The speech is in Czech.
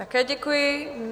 Také děkuji.